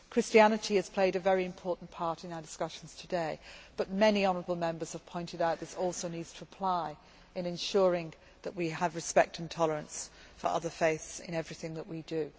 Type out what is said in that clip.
Christianity has played a very important part in our discussions today but many honourable Members have pointed out that this also needs to apply in ensuring that we have respect and tolerance for other faiths in everything that we do.